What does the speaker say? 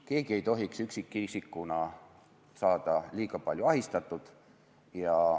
Keegi ei tohiks üksikisikuna saada liiga palju ahistatud.